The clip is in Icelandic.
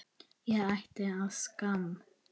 Ég ætti að skamm